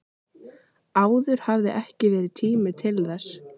Áður hafði ekki verið tími til þess.